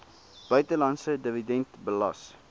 buitelandse dividend belas